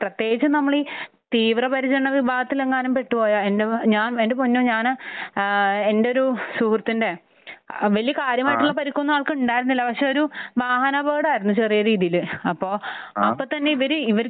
പ്രത്യേകിച്ചും നമ്മൾ ഈ തീവ്രപരിചരണ വിഭാഗത്തിലെങ്ങാനും പെട്ടുപോയാൽ. എന്റെ ഞാൻ എന്റെ പൊന്നോ ഞാൻ ഏഹ് എന്റെ ഒരു സുഹൃത്തിന്റെ വലിയ കാര്യമായിട്ടുള്ള പരിക്കൊന്നും ആൾക്ക് ഉണ്ടായിരുന്നില്ല. പക്ഷെ ഒരു വാഹനാപകടം ആയിരുന്നു ചെറിയ രീതിയിൽ. അപ്പോൾ അപ്പോൾ തന്നെ ഇവർ ഇവർക്ക്